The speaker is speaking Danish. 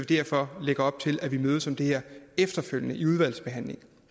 derfor lægge op til at vi mødes om det her efterfølgende i udvalgsbehandlingen